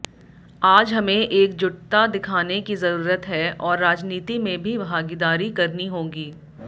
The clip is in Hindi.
आज हमें एकजुटता दिखाने की जरूरत है और राजनीति में भी भागीदारी करनी होगी